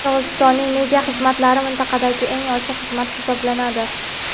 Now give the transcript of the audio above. Qirg‘izistonning media xizmatlari mintaqadagi "eng ochiq" xizmat hisoblanadi.